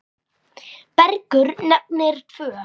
Bergur nefnir tvö.